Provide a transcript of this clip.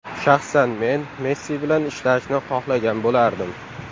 Shaxsan men Messi bilan ishlashni xohlagan bo‘lardim.